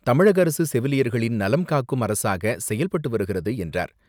தமிழக அரசு செவிலியர்களின் நலன் காக்கும் அரசாக செயல்பட்டு வருகிறது என்றார்.